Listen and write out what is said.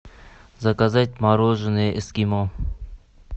заказать мороженое эскимо